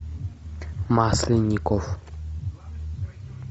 масленников